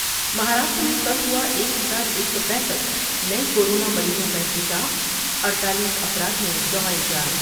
مہاراشٹر میں کل ہوا ایک ہزار ایک سو پینسٹھ نئے کورونا مریضوں کا انکشاف اڈتالیس افراد نے گنوائی جان ۔